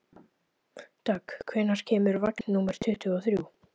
Dögg, hvenær kemur vagn númer tuttugu og þrjú?